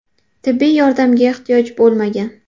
Tibbiy yordamga ehtiyoj bo‘lmagan.